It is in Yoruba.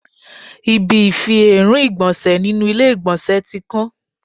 Ibi ifi èérún ìgbọ̀nsẹ̀ nínú ilé ìgbọ̀nsẹ̀ tí kán.